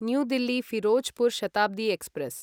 new Delhi Firozpur Shatabdi express